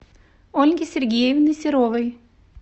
ольги сергеевны серовой